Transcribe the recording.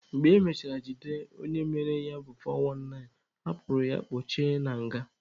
Mgbe emechara jide onye mere ya bụ 419, a kpụrụ ya kpochie na nga.